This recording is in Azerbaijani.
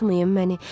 Atmayın məni.